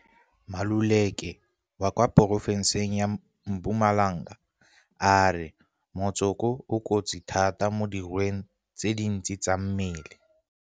Maluleke wa kwa porofenseng ya Mpumalanga a re motsoko o kotsi thata mo dirweng tse dintsi tsa mmele.